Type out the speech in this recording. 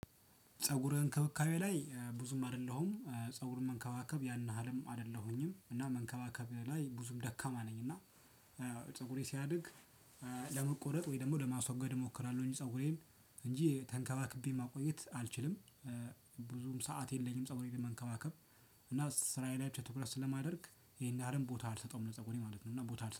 ፀጉር እንክብካቤ ላይ ብዙም አይደለሁም ፀጉር መንከባከብ ያን ያህልም አይደለሁኝም እና መንከባከብ ላይ ብዙም ደካማ ነኝ እና ፀጉሬ ሲያድግ ለመቆረጥ ወይ ደግሞ ለማስወገድ እሞክራለሁ እንጂ ፀጉሬን እንጂ ተንከባክቤ ማቆየት አልችልም። ብዙም ሰዓት የለኝም ፀጉሬን ለመንከባከብ እና ስራዬ ላይ ብቻ ትኩረት ስለማደርግ ይሄን ያህልም ቦታ አልሰጠውም ለፀጉሬ ማለት ነው። እና ቦታ አልሰጠውም